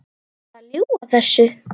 Ertu að ljúga þessu?